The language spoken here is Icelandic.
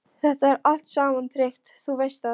Þetta er allt saman tryggt, þú veist það.